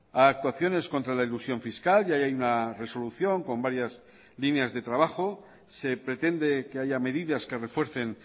a actuaciones contra la elusión fiscal y ahí hay una resolución con varias líneas de trabajo se pretende que haya medidas que refuercen